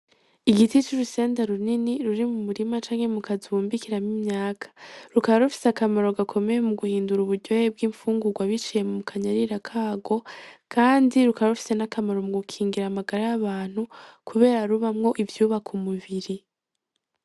Igiti c'urusenda runini ruri mumurima canke mukazu bumbikiramwo imyaka rukaba rufise akamaro gakomeye muguhindura uburyohe bwimfungurwa biciye mukanyarira karwo kandi rukaba rufise nakamaro mugukingira amagara yabantu kubera rubamwo ivyubaka umubiri.